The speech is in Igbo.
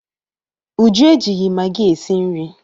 Uju ejighị magị esi nri.